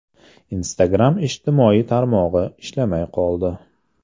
Instagram ijtimoiy tarmog‘i ishlamay qoldi.